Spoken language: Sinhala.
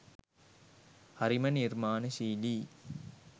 හරිම නිර්මාණශීලීයි